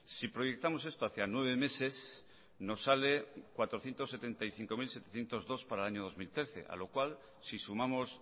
si proyectamos esto hacia nueve meses nos sale cuatrocientos setenta y cinco mil setecientos dos para el año dos mil trece a lo cual si sumamos